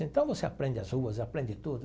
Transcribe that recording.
Então, você aprende as ruas, aprende tudo.